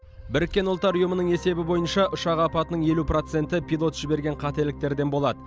біріккен ұлттар ұйымының есебі бойынша ұшақ апатының елу проценті пилот жіберген қателіктерден болады